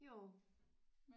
Jo